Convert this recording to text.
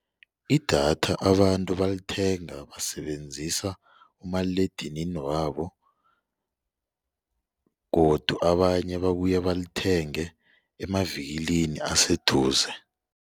Idatha abantu balithenga basebenzisa umaliledinini wabo godu abanye babuye balithenge emavikilini aseduze.